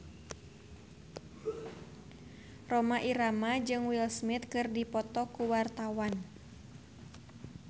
Rhoma Irama jeung Will Smith keur dipoto ku wartawan